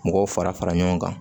Mɔgɔw fara fara ɲɔgɔn kan